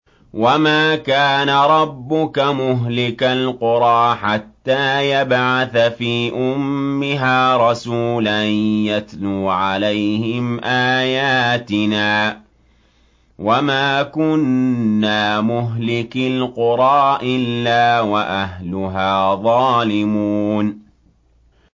وَمَا كَانَ رَبُّكَ مُهْلِكَ الْقُرَىٰ حَتَّىٰ يَبْعَثَ فِي أُمِّهَا رَسُولًا يَتْلُو عَلَيْهِمْ آيَاتِنَا ۚ وَمَا كُنَّا مُهْلِكِي الْقُرَىٰ إِلَّا وَأَهْلُهَا ظَالِمُونَ